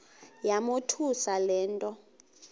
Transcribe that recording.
yamothusa le nto